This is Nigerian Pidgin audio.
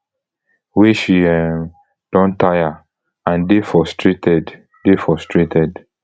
wey she um don taya and dey frustrated dey frustrated